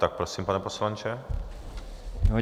Tak prosím, pane poslanče.